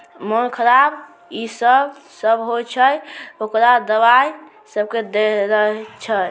मन खराब ई सब सब होय छै ओकरा दवाई सब के देय छै।